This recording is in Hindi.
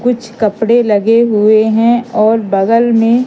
कुछ कपड़े लगे हुए हैं और बगल में--